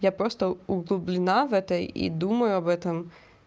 я просто углублена в это и думаю об этом